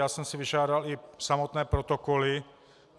Já jsem si vyžádal i samotné protokoly.